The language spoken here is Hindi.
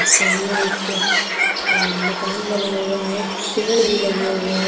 सामने एक मकान बना हुआ है पेड़ भी लगे हुए हैं।